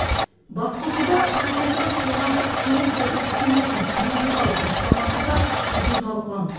басқосуда президенттің қоғамдық сенім ұлттық кеңесін құру туралы бастамасы да қызу талқыланды